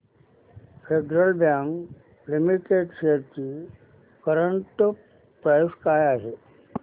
federal bank limited shares ची current price काय आहे